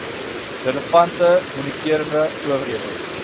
relevante moniterende owerhede